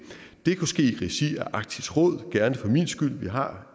det kunne ske i regi af arktisk råd gerne for min skyld vi har